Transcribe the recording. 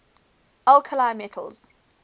alkali metals